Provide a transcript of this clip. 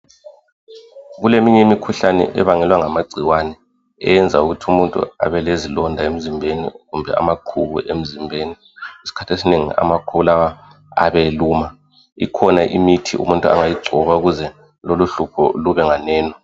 Kuleminye imkhuhlane ebangelwa ngamagcikwane eyenza umuthu abelezilonda emzimbebi kumbe amaqubu emzimbebi. Isikhathi esinengi amaqubu lawa ayabe eluma. Ikhona imithi umuthi angayigcoba ukuze kube nganeni.